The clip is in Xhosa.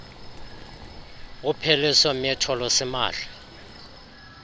upheliso mitho lusimahla